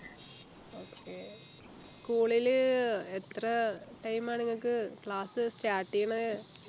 okay school ലു എത്ര time ആ നിങ്ങക്ക് class start ചെയ്യുന്നത്